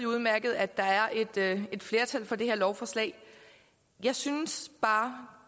udmærket at der er et flertal for det her lovforslag jeg synes bare